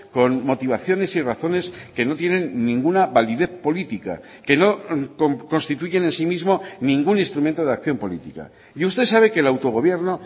con motivaciones y razones que no tienen ninguna validez política que no constituyen en sí mismo ningún instrumento de acción política y usted sabe que el autogobierno